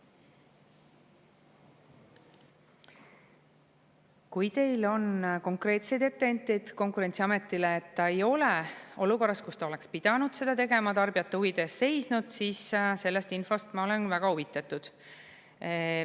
Kui teil on konkreetseid etteheiteid Konkurentsiametile, et ta ei ole olukorras, kus ta oleks pidanud seda tegema, tarbijate huvide eest seisnud, siis sellest infost ma olen väga huvitatud.